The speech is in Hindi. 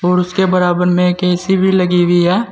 और उसके बराबर में एक ए_सी भी लगी हुई है।